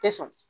Tɛ sɔn